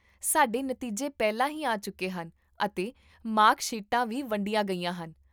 ਸਾਡੇ ਨਤੀਜੇ ਪਹਿਲਾਂ ਹੀ ਆ ਚੁੱਕੇ ਹਨ, ਅਤੇ ਮਾਰਕ ਸ਼ੀਟਾਂ ਵੀ ਵੰਡੀਆਂ ਗਈਆਂ ਹਨ